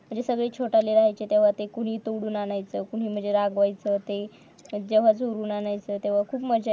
सगळे छोटाले राहायचे तेव्हा ते कुणी तोडून आणायचं कुणी मंजे रागवायचे ते तोडून आणायचं तेव्हा खूप मज्जा यायची